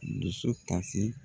Dusu kasi